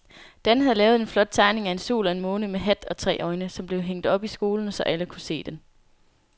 Dan havde lavet en flot tegning af en sol og en måne med hat og tre øjne, som blev hængt op i skolen, så alle kunne se den.